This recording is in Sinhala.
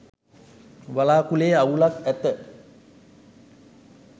වළාකුලේ අවුලක් ඇත